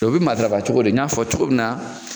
O bɛ matarafa cogo di? N y'a fɔ cogo min na.